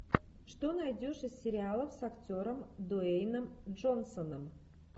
что найдешь из сериалов с актером дуэйном джонсоном